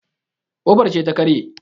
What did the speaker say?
kofar ce ta karye